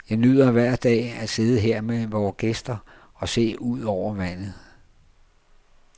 Jeg nyder hver dag at sidde her med vore gæster og se ud over vandet.